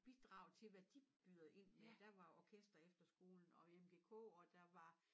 Bidrag til hvad de byder ind med der var Orkesterefterskolen og MGK og der var